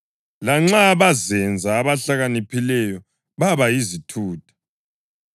Lanxa bazenza abahlakaniphileyo baba yizithutha